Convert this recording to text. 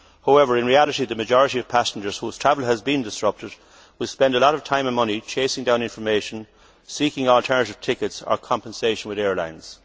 However, in reality, the majority of passengers whose travel has been disrupted will spend a lot of time and money chasing down information, seeking alternative tickets or compensation with airlines.